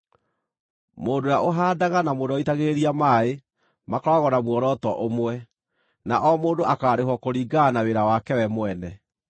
Mũndũ ũrĩa ũhaandaga na mũndũ ũrĩa ũitagĩrĩria maaĩ makoragwo na muoroto ũmwe, na o mũndũ akaarĩhwo kũringana na wĩra wake we mwene.